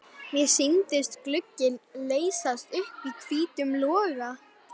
Mér sýndist glugginn leysast upp í hvítum loga.